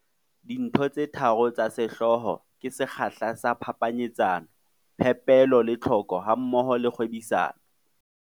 Dintho tse tharo tsa sehlooho ke sekgahla sa phapanyetsano, phepelo le tlhoko hammoho le kgwebisano.